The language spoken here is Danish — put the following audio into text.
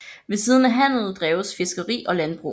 Ved siden af handel dreves fiskeri og landbrug